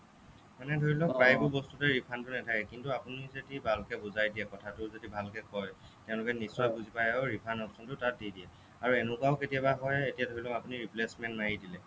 মানে ধৰি লওক প্ৰায়বোৰ বস্তুতে refund টো নাথাকে কিন্তু আপুনি যদি ভালকৈ বুজাই দিয়ে কথাটো যদি ভালকৈ ক'য় তেওঁলোকে নিশ্চয় বুজি পায় আৰু refund option টো তাত দি দিয়ে আৰু এনেকুৱাও কেতিয়া হ'য় এতিয়া ধৰি লওক আপুনি replacement মাৰি দিলে